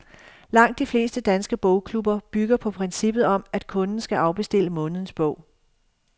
Langt de fleste danske bogklubber bygger på princippet om, at kunden skal afbestille månedens bog.